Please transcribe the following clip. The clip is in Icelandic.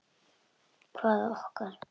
Hvaða okkar?